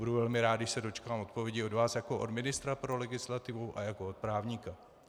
Budu velmi rád, když se dočkám odpovědi od vás jako od ministra pro legislativu a jako od právníka.